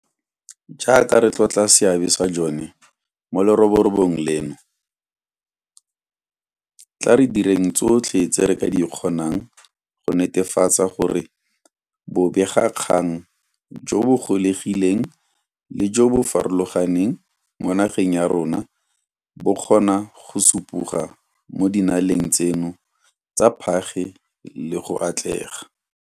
Jaaka re tlotla seabe sa jone mo leroborobong leno, tla re direng tsotlhe tse re ka di kgonang go netefatsa gore bobegakgang jo bo gololegileng le jo bo farologaneng mo nageng ya rona bo kgona go supoga mo dinaleng tseno tsa phage le go atlega.